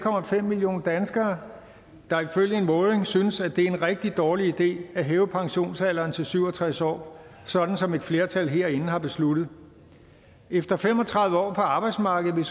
millioner danskere der ifølge en måling synes at det er en rigtig dårlig idé at hæve pensionsalderen til syv og tres år sådan som et flertal herinde har besluttet efter fem og tredive år på arbejdsmarkedet